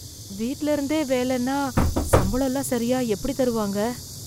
வீட்ல இருந்தே வேலைன்னா சம்பளம்லாம் சரியா எப்படித் தருவாங்க?